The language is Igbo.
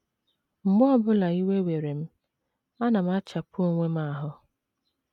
“ Mgbe ọ bụla iwe were m, ana m achapu onwe m ahụ́.